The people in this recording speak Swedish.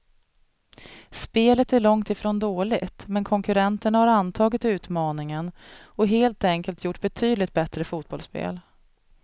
Spelet är långt ifrån dåligt, men konkurrenterna har antagit utmaningen och helt enkelt gjort betydligt bättre fotbollsspel.